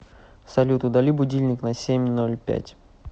салют удали будильник на семь ноль пять